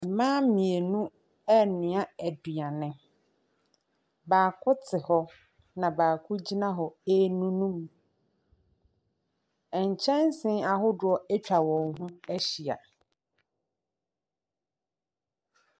Mmaa mmienu renoa aduane. Baako te hɔ, na baako gyina hɔ renunum. Nkyɛnse ahodoɔ atwa wɔn ho ahyia.